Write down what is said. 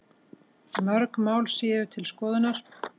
Mörg mál séu til skoðunar